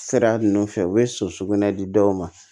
Sira ninnu fɛ u bɛ so sugunɛ di dɔw ma